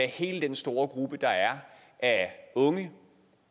hele den store gruppe der er af unge